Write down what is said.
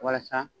Walasa